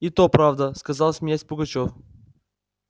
и то правда сказал смеясь пугачёв